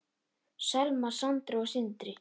Selma, Sandra og Sindri.